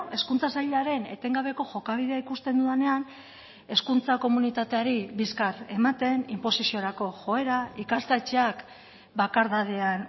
hezkuntza sailaren etengabeko jokabidea ikusten dudanean hezkuntza komunitateari bizkar ematen inposiziorako joera ikastetxeak bakardadean